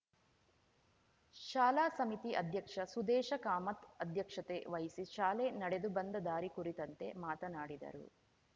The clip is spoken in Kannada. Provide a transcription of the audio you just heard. ಶಾಲಾ ಸಮಿತಿ ಅಧ್ಯಕ್ಷ ಸುದೇಶ ಕಾಮತ್‌ ಅಧ್ಯಕ್ಷತೆ ವಹಿಸಿ ಶಾಲೆ ನಡೆದುಬಂದ ದಾರಿ ಕುರಿತಂತೆ ಮಾತನಾಡಿದರು